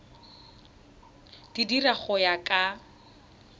di dira go ya ka